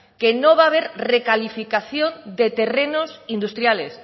que no va a ver recalificación de terrenos industriales